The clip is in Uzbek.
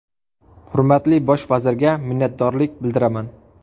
Hurmatli Bosh vazirga minnatdorlik bildiraman”.